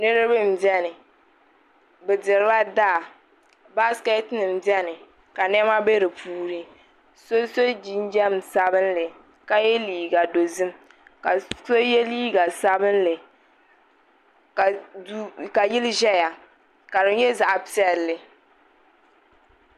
Niriba nbɛni be dirila daa basiketi nim bɛni ka nɛma bɛ di puuni so sɔ jinjam sabinli ka yɛ liiga dozim ka so yɛ liiga sabinli ka yili ʒaya ka di nyɛ zaɣ pɛlli